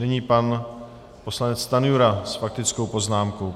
Nyní pan poslanec Stanjura s faktickou poznámkou.